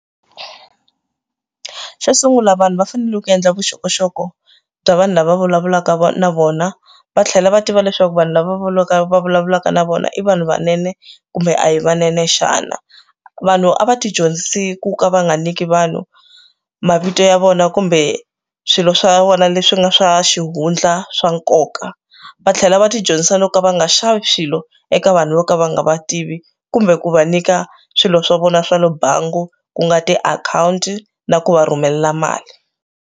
Xo sungula vanhu va fanele ku endla vuxokoxoko bya vanhu lava vulavulaka na vona va tlhela va tiva leswaku vanhu lava vulaka va vulavulaka na vona i vanhu vunene kumbe a hi vanene xana vanhu a va ti dyondzisi ku ka va nga nyiki vanhu mavito ya vona kumbe swilo swa vona leswi nga swa xihundla swa nkoka va tlhela va ti dyondzisa na ku va nga xavi swilo eka vanhu vo ka va nga va tivi kumbe ku va nyika swilo swa vona swa le bangi ku nga tiakhawunti na ku va rhumela mali.